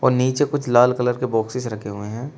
नीचे कुछ लाल कलर के बॉक्सेस रखे हुए हैं।